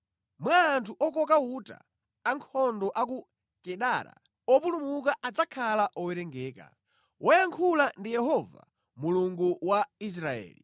Mwa anthu okoka uta, ankhondo a ku Kedara opulumuka adzakhala owerengeka.” Wayankhula ndi Yehova Mulungu wa Israeli.